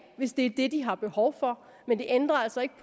hvis det er det de har behov for men det ændrer altså ikke